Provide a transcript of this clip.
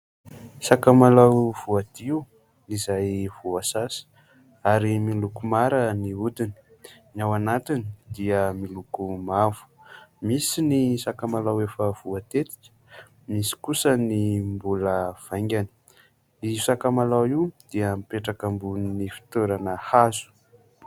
Sakamalao voadio izay voasasa ary miloko mara ny hodiny, ny ao anatiny dia miloko mavo. Misy ny sakamalao efa voatetika, misy kosa ny mbola vaingany. Io sakamalao io dia mipetraka ambony fitoerana hazo.